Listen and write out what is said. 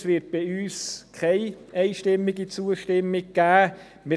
Es wird von uns keine einstimmige Zustimmung geben.